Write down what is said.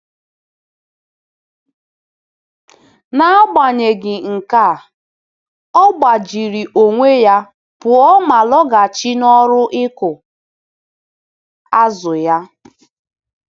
N’agbanyeghị nke a, ọ gbajiri onwe-ya pụọ ma lọghachi n’ọrụ ịkụ azụ-ya.